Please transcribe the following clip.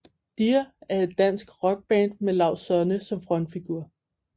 Dear er et dansk rockband med Laust Sonne som frontfigur